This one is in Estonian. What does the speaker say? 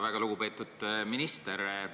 Väga lugupeetud minister!